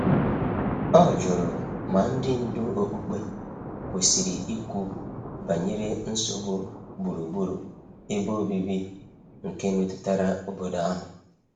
O jụrụ ma ndị ndu okpukpe kwesiri ikwu banyere nsogbu gburugburu ebe obibi nke metụtara obodo ahụ.